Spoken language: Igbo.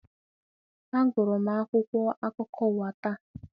A gụrụ m akwụkwọ akụkọ ụwa taa.